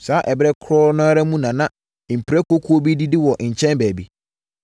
Saa ɛberɛ korɔ no ara mu na mprakokuo bi redidi wɔ nkyɛn baabi.